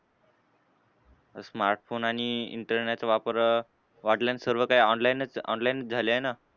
Smartphone आणि internet वापर वाढलाय आणि सर्व काही online च online झालंय ना.